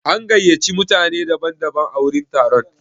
An gayyaci mutane daban daban a wurin taron.